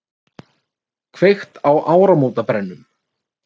Kveikt í áramótabrennum